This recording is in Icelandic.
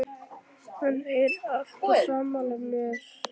Hann heyrir allt og er sammála mér.